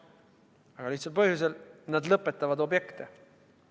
Aga seda väga lihtsal põhjusel: nad lõpetavad objekte.